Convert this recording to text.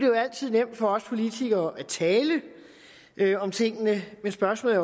jo altid nemt for os politikere at tale om tingene men spørgsmålet